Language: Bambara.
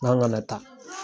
N k'an kana taa.